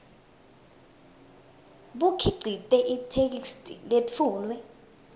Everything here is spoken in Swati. bukhicite itheksthi letfulwe